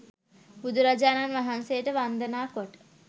බුදුරජාණන් වහන්සේට වන්දනා කොට